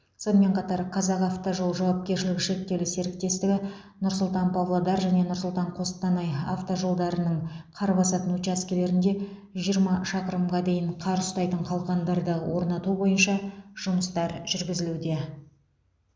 сонымен қатар қазақавтожол жауапкершілігі шектеулі серіктестігі нұр сұлтан павлодар және нұр сұлтан қостанай автожолдарының қар басатын учаскелерінде жиырма шақырымға дейін қар ұстайтын қалқандарды орнату бойынша жұмыстар жүргізілуде